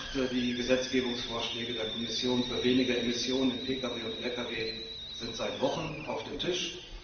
Ich dachte, die Gesetzgebungsvorschläge der Kommission für weniger Emissionen bei Pkws und Lkws sind seit Wochen auf dem Tisch.